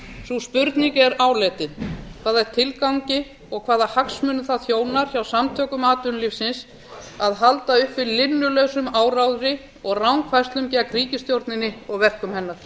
sú spurning er áleitin hafa tilgangi og hvaða hagsmunum það þjónar hjá samtökum atvinnulífsins að halda uppi linnulausum áróðri og rangfærslum gegn ríkisstjórninni og verkum hennar